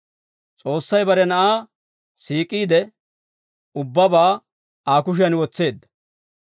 S'oossay bare Na'aa siik'iide ubbabaa Aa kushiyan wotseedda.